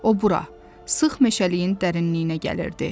O bura, sıx meşəliyin dərinliyinə gəlirdi.